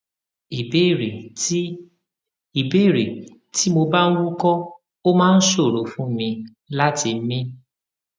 ìbéèrè tí ìbéèrè tí mo bá ń wúkọ ó máa ń ṣòro fún mi láti mi